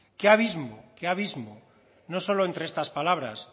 qué abismo qué abismo no solo entre estas palabras